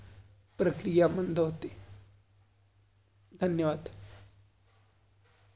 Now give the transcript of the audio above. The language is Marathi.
प्रक्रिया पण दावते. धन्यवाद!